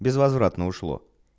безвозвратно ушло